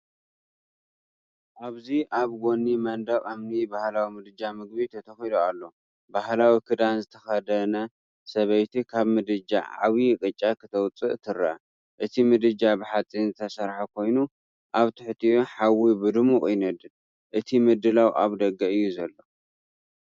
ኣብዚ ኣብ ጎኒ መንደቕ እምኒ ባህላዊ ምድጃ ምግቢ ተተኺሉ ኣሎ። ባህላዊ ክዳን ዝተኸድነ ሰበይቲ ካብ ምድጃ ዓቢይ ቅጫ ክተውፅእ ይርአ። እቲ ምድጃ ብሓጺን ዝተሰርሐ ኮይኑ፡ ኣብ ትሕቲኡ ሓዊ ብድሙቕ ይነድድ። እቲ ምድላው ኣብ ደገ እዩ ዘሎ።